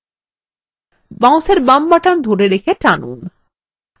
মাউসের বাম button ধরে রেখে টানুন